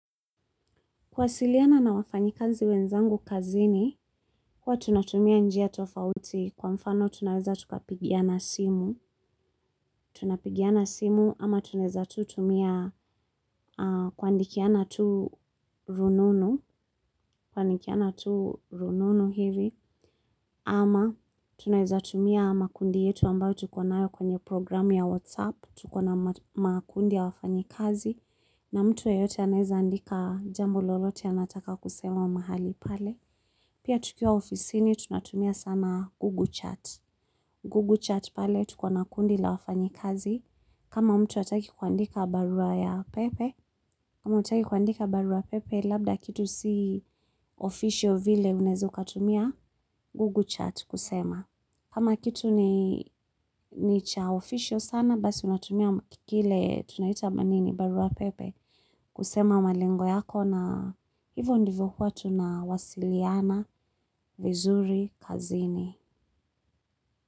Kuwasiliana na wafanyikazi wenzangu kazini, huwa tunatumia njia tofauti, kwa mfano tunaweza tukapigiana simu. Tunapigiana simu, ama tunaeza tu tumia kuandikiana tu rununu, kuandikiana tu rununu hivi, ama tunaweza tumia makundi yetu ambayo tuko nayo kwenye program ya WhatsApp, tuko na makundi ya wafanyikazi, na mtu yeyote anaeza andika jambo lolote anataka kusema mahali pale. Pia tukiwa ofisini tunatumia sana Google Chat. Google Chat pale tuko na kundi la wafanyi kazi. Kama mtu ataki kuandika barua ya pepe. Kama mtu ataki kuandika barua ya pepe, labda kitu si official vile unezu katumia Google Chat kusema. Kama kitu ni cha ofisio sana, basi unatumia kile tunaita ama nini barua ya pepe. Kusema malengo yako na hivyo ndivyo huwa tunawasiliana vizuri kazini.